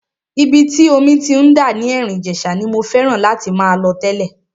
Ibi tí omi ti ń dà ní Erin Ijesa ni mo fẹ́ràn láti máa lọ tẹ́lẹ̀.